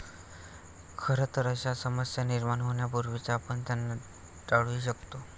खरंतर, अशा समस्या निर्माण होण्यापूर्वीच आपण त्यांना टाळूही शकतो.